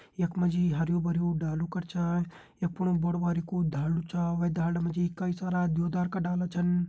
यखमा जी हर्युं-भर्युं डालू कर छा यख फोणू बडू भारी कु ढालदु छा वे ढालदा मा जी कई सारा द्युदार का डाला छन।